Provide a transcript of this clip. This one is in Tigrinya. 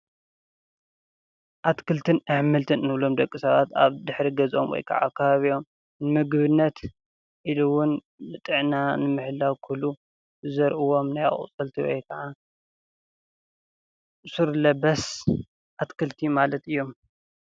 ኣትክልትን ኣሕምልትን ንብሎም ደቂ ሰባት ኣብ ድሕሪ ገዝኦም ወይ ካዓ ኣብ ከባቢኦም ንምግብነት ኢሉ እውን ጥዕና ንምሕላው ክብሉ ዝዘርእዎም ናይ ኣቑፅልቲ ወይ ካዓ ሱር ለበስ ኣትክልቲ ማለት እዮም።